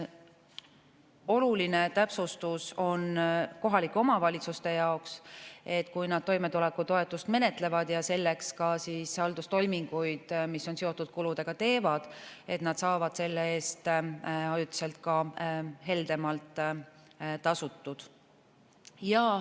Oluline täpsustus on kohalike omavalitsuste jaoks, et kui nad toimetulekutoetust menetlevad ja teevad selleks ka haldustoiminguid, mis on seotud kuludega, siis nad saavad selle eest ajutiselt heldemalt tasutud.